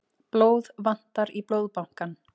Blóð vantar í Blóðbankann